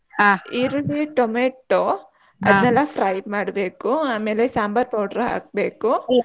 ಈರುಳ್ಳಿ tomato ಅದ್ನೇಲ್ಲ fry ಮಾಡ್ಬೇಕು ಆಮೇಲೆ ಸಾಂಬಾರ್ powder ಹಾಕ್ಬೇಕು.